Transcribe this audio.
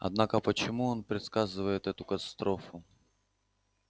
однако почему он предсказывает эту катастрофу